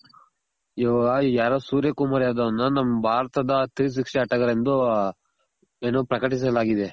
ಇವಾಗ ಯಾರೋ ಸೂರ್ಯ ಕುಮಾರ್ ಯಾದವ್ ನು ನಮ್ ಭಾರತದ ತ್ರೀ ಸಿಕ್ಸ್ಟಿ ಆಟಗಾರ ಎಂದು ಏನು ಪ್ರಕಟಿಸಲಾಗಿದೆ.